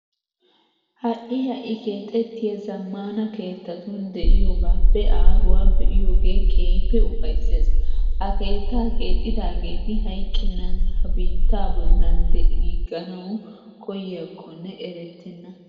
Ha"i ha"i keexettiya zammaana keettatun de'iyogaappe aaruwa be'iyogee keehippe ufayssees. Ha keettaa keexxidaageeti hayqqennan ha biittaa bollan de'iigganawu koyyiyakkonne erettenna.